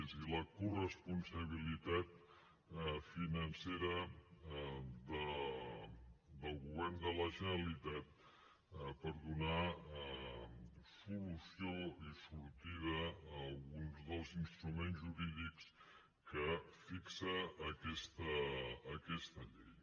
és a dir la coresponsabilitat financera del govern de la generalitat per donar solució i sortida a alguns dels instruments jurídics que fixa aquesta llei